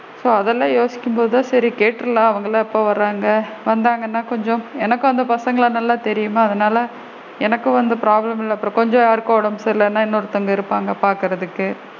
So அதலாம் யோசிக்கும் போது தான் சரி கேட்றலாம் அவுங்கலா எப்ப வராங்க வந்தாங்கனா கொஞ்சம் எனக்கு அந்த பசங்கல நல்லா தெரியுமே அதனால எனக்கு வந்து problem இல்ல அப்பரம் கொஞ்சம் யாருக்கும் உடம்பு சரி இல்லைனா இன்னொருதவுங்க இருப்பாங்க பாக்குறதுக்கு.